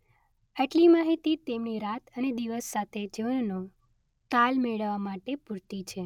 આટલી માહિતી તેમની રાત અને દિવસ સાથે જીવનનો તાલ મેળવવા માટે પૂરતી છે.